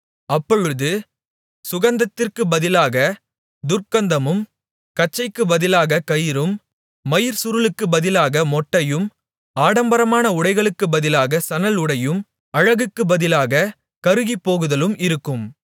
அப்பொழுது சுகந்தத்திற்குப் பதிலாகத் துர்க்கந்தமும் கச்சைக்குப் பதிலாகக் கயிறும் மயிர்ச்சுருளுக்குப் பதிலாக மொட்டையும் ஆடம்பரமான உடைகளுக்குப் பதிலாக சணல்உடையும் அழகுக்குப் பதிலாகக் கருகிப்போகுதலும் இருக்கும்